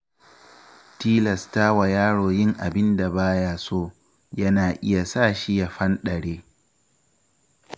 Tilastawa yaro yin abin da ba ya so, yana iya sashi ya fanɗare.